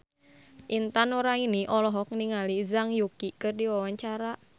Intan Nuraini olohok ningali Zhang Yuqi keur diwawancara